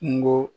Kungo